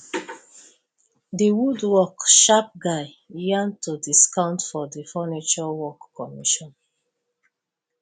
the woodwork sharp guy yarn ten discount for the furniture work commission